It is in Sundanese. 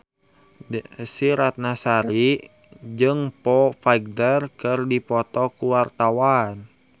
Desy Ratnasari jeung Foo Fighter keur dipoto ku wartawan